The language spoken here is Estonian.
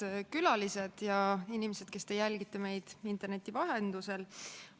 Head külalised ja inimesed, kes te jälgite meid interneti vahendusel!